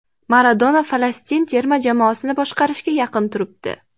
Maradona Falastin terma jamoasini boshqarishga yaqin turibdi.